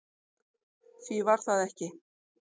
Því var það ekki